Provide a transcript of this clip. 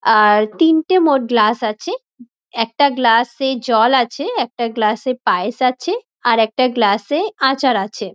আ-আ-র তিনটে মোট গ্লাস আছে একটা গ্লাস -এ জল আছে একটা গ্লাস -এ পায়েস আছে আর একটা গ্লাস -এ আচার আছে।